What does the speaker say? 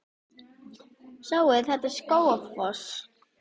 Sjáiði! Þetta er Skógafoss.